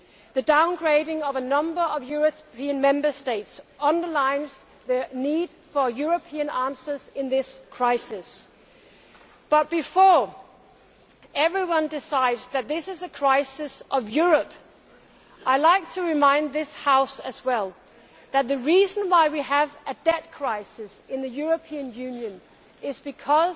The downgrading of a number of European Member States underlines the need for European answers in this crisis but, before everyone decides that this is a crisis of Europe, I would like to remind this House that the reason why we have a debt crisis in the European Union is because